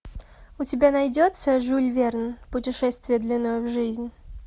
у тебя найдется жюль верн путешествие длиною в жизнь